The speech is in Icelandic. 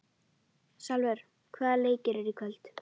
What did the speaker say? Salvör, hvaða leikir eru í kvöld?